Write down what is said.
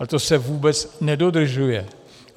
A to se vůbec nedodržuje.